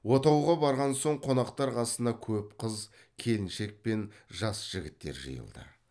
отауға барған соң қонақтар қасына көп қыз келіншек пен жас жігіттер жиылды